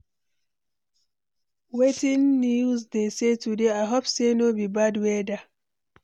Wetin news dey say today? I hope sey no be bad weather.